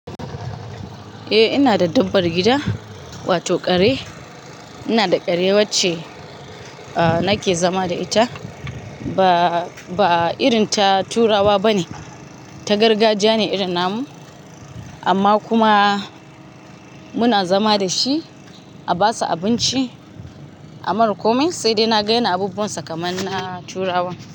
Eh ina da dabbar gida, wato kare. Ina da kare wacce nake zama da ita. Ba, ba irin ta turawa bane, ta gargajiya ne irin namu. Amma kuma muna zama da shi a basu abinci, a mara komai sai dai naga yans abubuwan sa kamar na turawan.